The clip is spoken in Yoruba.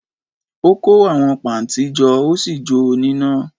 Ó kó àwọn pà ntí jo Ósì jó o n'íná